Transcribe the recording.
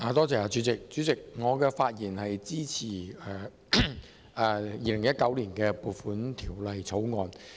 主席，我發言支持《2019年撥款條例草案》。